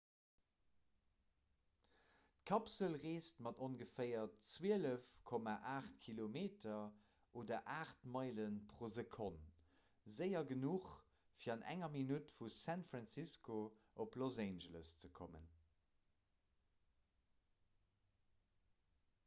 d'kapsel reesst mat ongeféier 12,8 km oder 8 meilen pro sekonn séier genuch fir an enger minutt vu san francisco op los angeles ze kommen